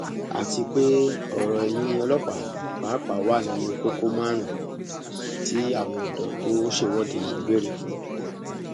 àti pé ọrọ ẹyìn ọlọpàá pàápàá wà nínú kókó márùnún tí àwọn ọdọ tó ṣèwọde yìí ń béèrè fún